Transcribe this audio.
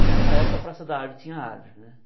E nessa época a Praça da Árvore tinha árvore, né?